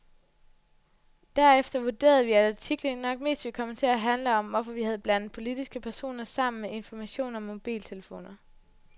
Derefter vurderede vi, at artiklen nok mest ville komme til at handle om, hvorfor vi havde blandet politiske personer sammen med information om mobiltelefoner.